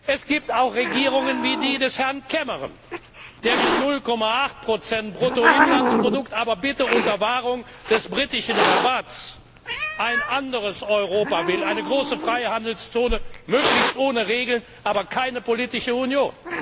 Es gibt auch Regierungen wie die des Herrn Cameron, der mit 0,8 Bruttoinlandsprodukt aber bitte unter Wahrung des britischen Rabatts ein anderes Europa will, eine große Freihandelszone, möglichst ohne Regeln, aber keine politische Union!